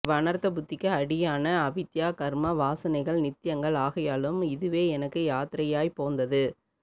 இவ்வநர்த்த புத்திக்கு அடியான அவித்யா கர்ம வாசனைகள் நித்யங்கள் ஆகையாலும் இதுவே எனக்கு யாத்ரையாய்ப் போந்தது